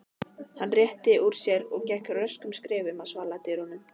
Hann rétti úr sér og gekk röskum skrefum að svaladyrunum.